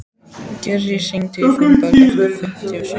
Gurrí, hringdu í Finnbogu eftir fimmtíu og sjö mínútur.